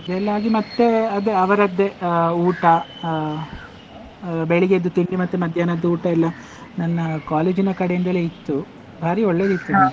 ಅದೆಲ್ಲ ಆಗಿ ಮತ್ತೆ ಅದೇ ಅವರದ್ದೇ ಆ ಊಟ ಆ ಬೆಳಿಗ್ಗೆದ್ದು ತಿಂಡಿ ಮತ್ತೆ ಮಧ್ಯಾಹ್ನದ ಊಟ ಎಲ್ಲ ನನ್ನ college ಇನ ಕಡೆಯಿಂದಲೇ ಇತ್ತು ಬಾರಿ ಒಳ್ಳೆದಿತ್ತು .